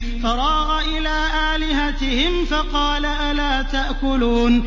فَرَاغَ إِلَىٰ آلِهَتِهِمْ فَقَالَ أَلَا تَأْكُلُونَ